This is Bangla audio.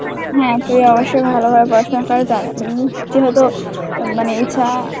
হ্যাঁ তুই অবশ্যই ভালোভাবে পড়াশুনা কর. উম যেহেতু মানে ইচ্ছা